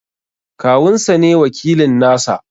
Kawun sa ne wakilin nasa.